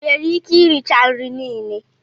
Ị nwere ike iricha nri niile?